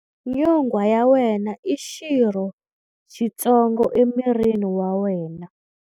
Nyonghwa ya wena i xirho xitsongo emirini wa wena.